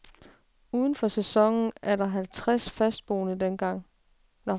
Uden for sæsonen var der halvtres fastboende dengang.